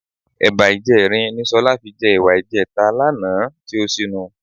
Ẹ̀ba ìjẹrin ni Sọlá fi jẹ ẹ̀wà ìjẹta lánàá tí ó ṣínu.